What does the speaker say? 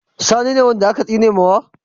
Sani ne wanda aka tsinewa?